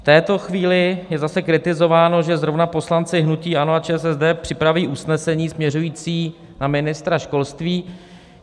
V této chvíli je zase kritizováno, že zrovna poslanci hnutí ANO a ČSSD připraví usnesení směřující na ministra školství.